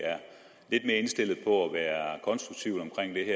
jeg indstillet på at være konstruktive omkring det